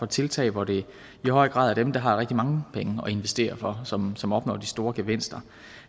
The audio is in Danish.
tiltag hvor det i høj grad er dem der har rigtig mange penge at investere for som som opnår de store gevinster